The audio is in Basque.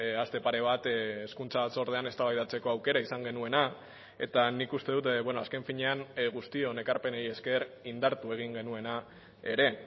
aste pare bat hezkuntza batzordean eztabaidatzeko aukera izan genuena eta nik uste dut azken finean guztion ekarpenei esker indartu egin genuena ere